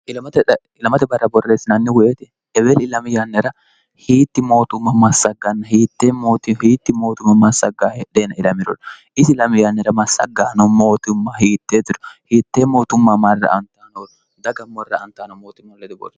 ilamate barra borreessinaanni woyete ebeel ilamiyaannira hiitti mootumma massagganna hittehiitti mootumma massagga hedheena ilamirori isi lami yaannira massaggaano mootumma hiittee tiru hiittee mootumma marra antaanoori dagammorra an0aano mootumma leduboori